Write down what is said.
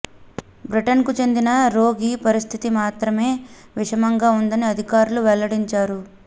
బ్రిటన్కు చెందిన రోగి పరిస్థితి మాత్రమే విషమంగా ఉందని అధికారులు వెల్లడించారు